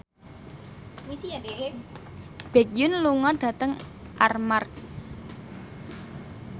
Baekhyun lunga dhateng Armargh